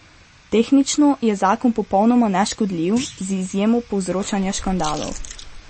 Tehnično je zakon popolnoma neškodljiv, z izjemo povzročanja škandalov.